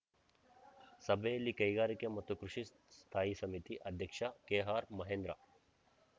ಸಭೆಯಲ್ಲಿ ಕೈಗಾರಿಕೆ ಮತ್ತು ಕೃಷಿ ಸ್ಥಾಯಿ ಸಮಿತಿ ಅಧ್ಯಕ್ಷ ಕೆಆರ್‌ ಮಹೇಂದ್ರ